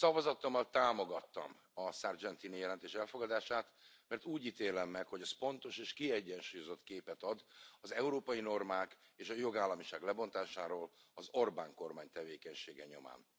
Szavazatommal támogattam a Sargentini jelentés elfogadását, mert úgy ítélem meg, hogy ez pontos és kiegyensúlyozott képet ad az európai normák és a jogállamiság lebontásáról az Orbán kormány tevékenysége nyomán.